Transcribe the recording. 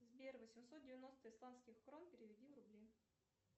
сбер восемьсот девяносто исламских крон переведи в рубли